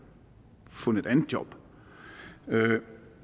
fundet et andet job